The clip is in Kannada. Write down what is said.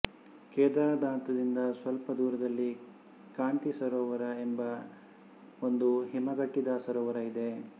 ಕೇದಾರನಾಥದಿಂದ ಸ್ವಲ್ಪ ದೂರದಲ್ಲಿ ಕಾಂತಿ ಸರೋವರ ಎಂಬ ಒಂದು ಹಿಮಗಟ್ಟಿದ ಸರೋವರ ಇದೆ